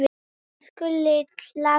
Elsku litla systir.